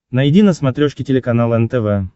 найди на смотрешке телеканал нтв